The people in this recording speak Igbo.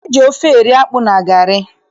E ji ofe eri akpụ na garị.